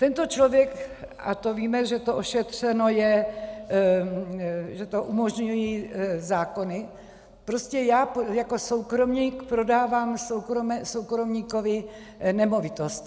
Tento člověk - a to víme, že to ošetřeno je, že to umožňují zákony, prostě já jako soukromník prodávám soukromníkovi nemovitost.